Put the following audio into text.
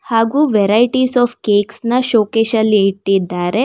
ಹಾಗೂ varieties of cakes ನ ಶೋಕೇಶಲ್ಲಿ ಇಟ್ಟಿದ್ದಾರೆ.